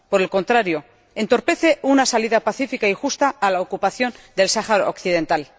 por el contrario, entorpece una salida pacífica y justa a la ocupación del Sáhara Occidental.